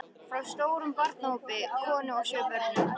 Frá stórum barnahópi, konu og sjö börnum.